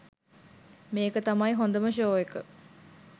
මේක තමයි හොදම ෂෝ එක